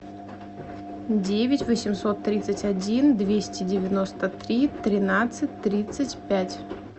девять восемьсот тридцать один двести девяносто три тринадцать тридцать пять